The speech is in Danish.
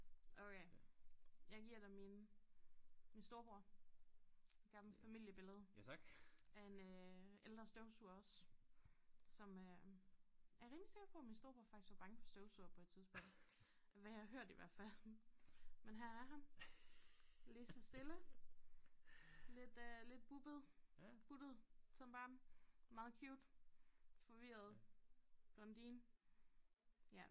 Okay jeg giver dig mine min storebror gammel familiebillede af en øh ældre støvsuger også som øh er rimelig sikker på min storebror faktisk var bange for støvsugere på et tidspunkt af hvad jeg har hørt i hvert fald men her er han lige så stille lidt øh lidt buttet buttet som barn meget cute forvirret blondine ja